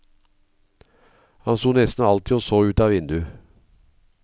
Han sto nesten alltid og så utav vinduet.